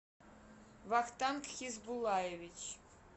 вахтанг хизбулаевич